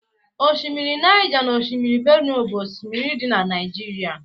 osimiri Niger na osimiri Benue bu osimiri di na Naijiria